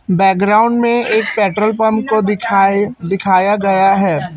Background में एक petrol pump को दिखाए दिखाया गया है।